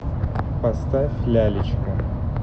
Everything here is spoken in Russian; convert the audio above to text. поставь лялечка